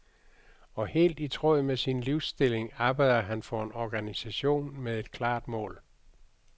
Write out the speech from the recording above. Og helt i tråd med sin livsindstilling arbejder han for en organisation med et klart mål.